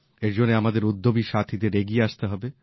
এর জন্য আমাদের উদ্যমী সাথীদের এগিয়ে আসতে হবে